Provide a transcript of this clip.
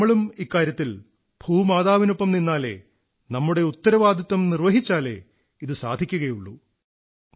എന്നാൽ നമ്മളും ഇക്കാര്യത്തിൽ ഭൂമാതാവിനൊപ്പം നിന്നാലേ നമ്മുടെ ഉത്തരവാദിത്തം നിർവ്വഹിച്ചാലേ ഇത് സാധിക്കയുള്ളൂ